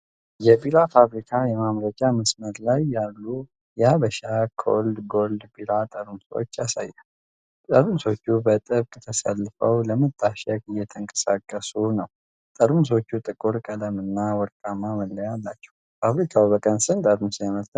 የቢራ ፋብሪካ የማምረቻ መስመር ላይ ያሉ የ'ሀበሻ ኮልድ ጎልድ' ቢራ ጠርሙሶችን ያሳያል። ጠርሙሶቹ በጥብቅ ተሰልፈው ለመታሸግ እየተንቀሳቀሱ ነው። ጠርሙሶቹ ጥቁር ቀለምና ወርቃማ መለያ አላቸው። ፋብሪካው በቀን ስንት ጠርሙስ ያመርታል?